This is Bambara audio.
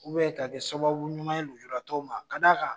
ka kɛ sababu ɲuman ye lujura tɔw ma da kan